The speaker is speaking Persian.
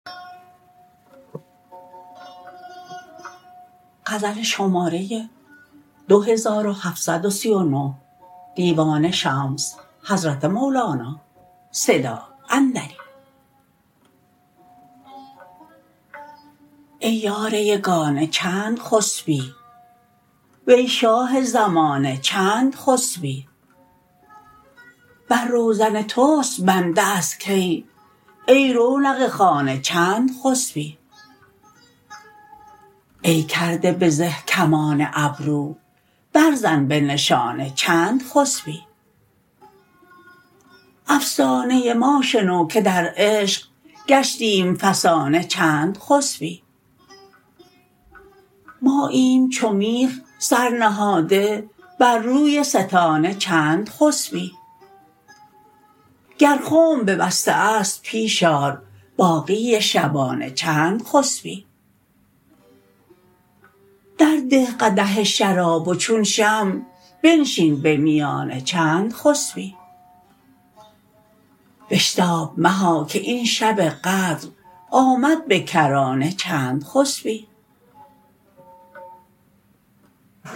ای یار یگانه چند خسبی وی شاه زمانه چند خسبی بر روزن توست بنده از کی ای رونق خانه چند خسبی ای کرده به زه کمان ابرو برزن به نشانه چند خسبی افسانه ما شنو که در عشق گشتیم فسانه چند خسبی ماییم چو میخ سر نهاده بر روی ستانه چند خسبی گر خنب ببسته است پیش آر باقی شبانه چند خسبی درده قدح شراب و چون شمع بنشین به میانه چند خسبی بشتاب مها که این شب قدر آمد به کرانه چند خسبی